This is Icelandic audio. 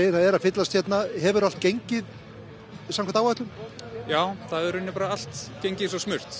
það er að fyllast hefur allt gengið samkvæmt áætlun já allt gengið smurt